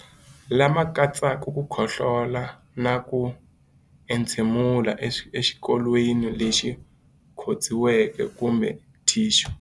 Lama katsaka ku khohlola na ku entshemulela exikokolweni lexi khotsiweke kumbe thixu.